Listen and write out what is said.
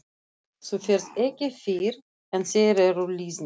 Þú ferð ekki fyrr en þeir eru liðnir.